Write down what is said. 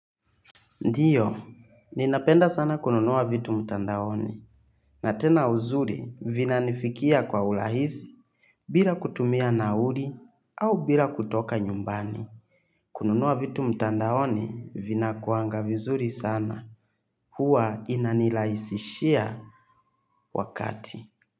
Ndio, ninapenda sana kununua vitu mtandaoni na tena uzuri vinanifikia kwa urahisi bila kutumia nauli au bila kutoka nyumbani. Kununua vitu mtandaoni vinakuanga vizuri sana huwa inanirahisishia wakati.